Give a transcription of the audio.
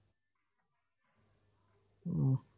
উহ